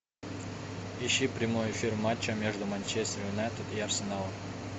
ищи прямой эфир матча между манчестер юнайтед и арсеналом